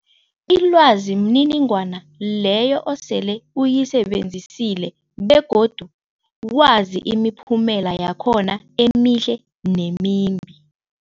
Ilwazi mniningwana leyo osele uyisebenzisile begodu wazi imiphumela yakhona emihle nemimbi.